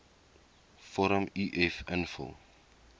vorm uf invul